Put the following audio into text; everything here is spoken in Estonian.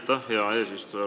Aitäh, hea eesistuja!